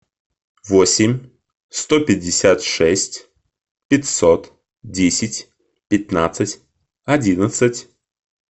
восемь сто пятьдесят шесть пятьсот десять пятнадцать одиннадцать